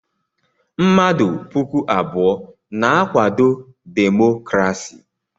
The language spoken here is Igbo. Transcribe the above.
Mmadụ puku abụọ na-akwado demokrasi.